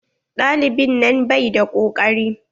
Ɗalibin nan bai da ƙokari.